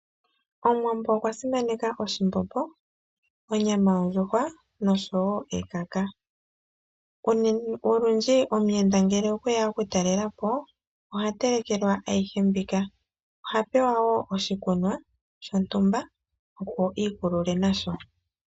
Omuwambo okwa simaneka oshimbombo, onyama yondjuhwa nosho woo ekaka. Olundji omuyenda ngele okwe ya okutalelelapo oha telekelelwa ayihe mbika. Oha pewa wo oshikunwa shontumba opo a ikulule nasho.